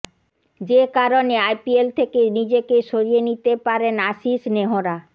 যে কারণে আইপিএল থেকে নিজেকে সরিয়ে নিতে পারেন আশিস নেহরা